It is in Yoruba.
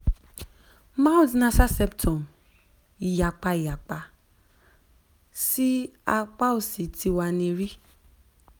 mild nasal septum iyapa iyapa si apa osi ti wa ni ri